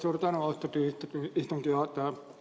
Suur tänu, austatud istungi juhataja!